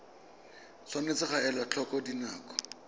tshwanetse ga elwa tlhoko dinako